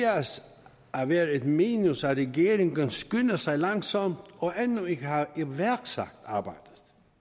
at være et minus at regeringen skynder sig langsomt og endnu ikke har iværksat arbejdet